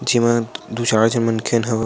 जेमा दो चार झन मन खेन हवय --